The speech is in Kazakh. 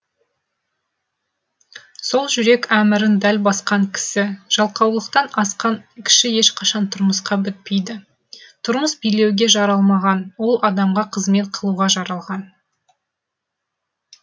сол жүрек әмірін дәл басқан кісі жалқаулықтан асқан кіші ешқашан тұрмысқа бітпейді тұрмыс билеуге жаралмаған ол адамға қызмет қылуға жаралған